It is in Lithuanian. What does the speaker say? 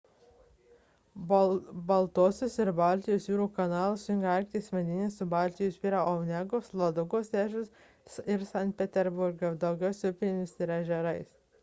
baltosios ir baltijos jūrų kanalas jungia arkties vandenyną su baltijos jūra per onegos ladogos ežerus ir sankt peterburgą daugiausia upėmis ir ežerais